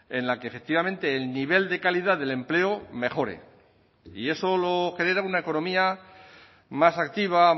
en la que efectivamente el nivel de calidad del empleo mejore y eso lo genera una economía más activa